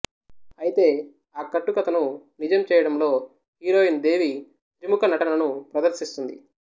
అయితే ఆ కట్టుకథను నిజం చేయడంలో హీరోయిన్ దేవి త్రిముఖ నటనను ప్రదర్శిస్తుంది